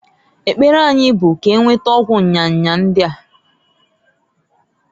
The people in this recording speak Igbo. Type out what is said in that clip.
Ekpere anyi bu k'enweta ọgwụ nya nya ndia.